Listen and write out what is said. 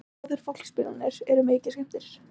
Báðir fólksbílarnir eru mikið skemmdir